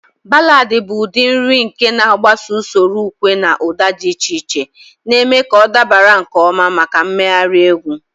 Ballad bụ ụdị uri nke na-agbaso usoro ukwe na ụda dị iche iche, na-eme ka ọ dabara nke ọma maka mmegharị egwu.